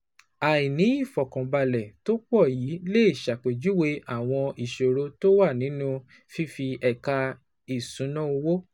Àìní ìfọ̀kànbalẹ̀ tó pọ̀ yìí lè ṣàpèjúwe àwọn ìṣòro tó wà nínú fífi ẹ̀ka ìṣúnná owó